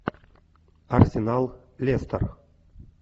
арсенал лестер